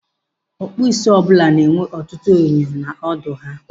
Ọkpụisi ọbụla na-enwe ọtụtụ enyo n'ọdọ ahịa.